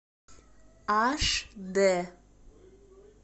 аш д